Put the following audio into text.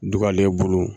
Dugalen bolo